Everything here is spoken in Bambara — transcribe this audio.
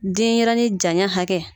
Denɲɛrɛnin janya hakɛ